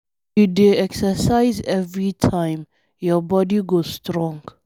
If you dey exercise every time, your body go strong.